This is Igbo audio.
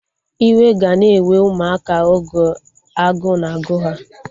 Iwe ga na-ewe ụmụaka oge agụụ na-agụ ha